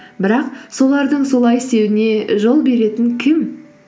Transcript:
бірақ солардың солай істеуіне жол беретін кім